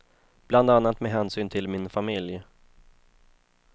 Bland annat med hänsyn till min familj.